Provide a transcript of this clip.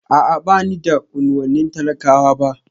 A'a ba ni daga unuwannin talakawa ba